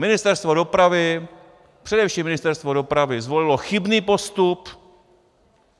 Ministerstvo dopravy, především Ministerstvo dopravy zvolilo chybný postup.